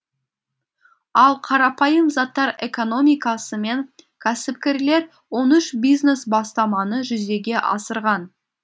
ал қарапайым заттар экономикасымен кәсіпкерлер он үш бизнес бастаманы жүзеге асырған